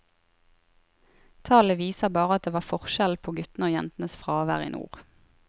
Tallene viser bare at det var forskjell på guttene og jentenes fravær i nord.